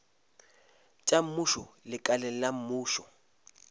tša mmušo lekaleng la mmušo